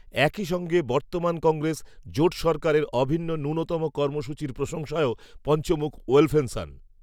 একইসঙ্গে বর্তমান কংগ্রেস, জোট সরকারের অভিন্ন ন্যূনতম কর্মসূচির প্রশংসায়ও, পঞ্চমুখ, ওলফেনসন